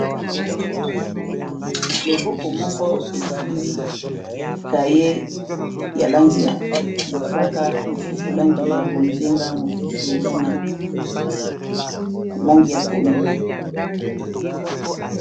Loboko moko esimbi kaye ya langi ya mosaka mosusu langi ya bonzenga mosusu eza na langi ya pondu.